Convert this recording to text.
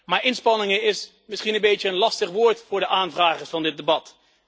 Maar inspanningen is misschien een beetje een lastig woord voor de aanvragers van dit debat.